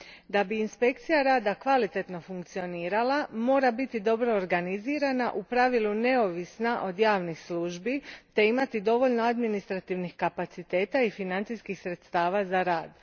Da bi inspekcija rada kvalitetno funkcionirala mora biti dobro organizirana, u pravilu neovisna od javnih službi te imati dovoljno administrativnih kapaciteta i financijskih sredstava za rad.